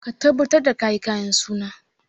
Ka tabbatar da ka yi kayan suna!